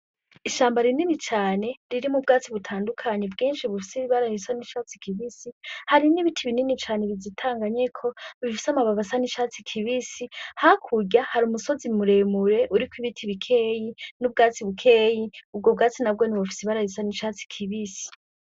Ishamba rinini cane ririmwo ubwatsi butandukanye bwinshi bufise ibara risa n'icatsi kibisi, harimwo ibiti binini cane bizitanganyeko, bifise amababi asa n'icatsi kibisi. Hakurya hari umusozi muremure uriko ibiti bikeyi n'ubwatsi bukeyi, ubwo bwatsi nabwone bufise ibara risa n'icatsi kibisi.